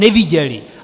Neviděli!